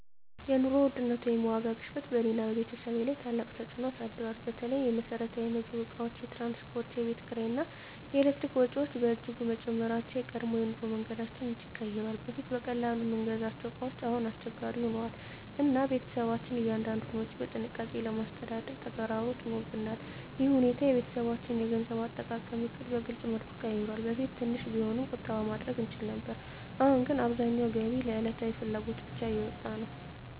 የኑሮ ውድነት ወይም የዋጋ ግሽበት በእኔና በቤተሰቤ ላይ ታላቅ ተፅዕኖ አሳድሯል። በተለይ የመሰረታዊ ምግብ እቃዎች፣ የትራንስፖርት፣ የቤት ኪራይ እና የኤሌክትሪክ ወጪዎች በእጅጉ መጨመራቸው የቀድሞ የኑሮ መንገዳችንን እጅግ ቀይሯል። በፊት በቀላሉ የምንገዛቸው እቃዎች አሁን አስቸጋሪ ሆነዋል፣ እና ቤተሰባችን እያንዳንዱን ወጪ በጥንቃቄ ማስተዳደር ተግዳሮት ሆኖብናል። ይህ ሁኔታ የቤተሰባችንን የገንዘብ አጠቃቀም ዕቅድ በግልፅ መልኩ ቀይሯል። በፊት ትንሽ ቢሆንም ቁጠባ ማድረግ እንችል ነበር፣ አሁን ግን አብዛኛው ገቢ ለዕለታዊ ፍላጎት ብቻ እየወጣ ነው።